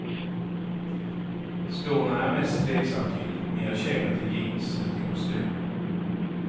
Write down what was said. Skorna är jag mest tveksam till, mer kängor till jeans än till kostym.